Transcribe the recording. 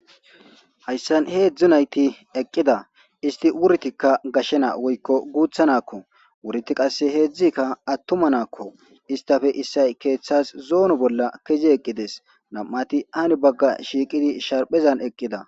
Hayssan heedzdzu nayti eqqida isti wurtikka gashena woykko guutha nakko wuriti qasse heedzdzikka attuma naakko istafe issay keeththas zoono bolla keze eqqides nam7ati ani bagga shiiqidi sharphezan eqqida.